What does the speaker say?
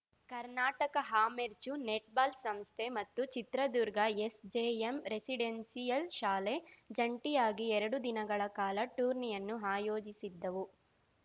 ಕರ್ನಾಟಕ ಅಮೆರ್ಚೂ ನೆಟ್‌ಬಾಲ್‌ ಸಂಸ್ಥೆ ಮತ್ತು ಚಿತ್ರದುರ್ಗ ಎಸ್‌ಜೆಎಂ ರೆಸಿಡೆನ್ಶಿಯಲ್‌ ಶಾಲೆ ಜಂಟಿಯಾಗಿ ಎರಡು ದಿನಗಳ ಕಾಲ ಟೂರ್ನಿಯನ್ನು ಆಯೋಜಿಸಿದ್ದವು